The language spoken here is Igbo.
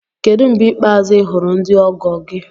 Kedu mgbe ikpeazụ ị hụrụ ndị ọgọ gị?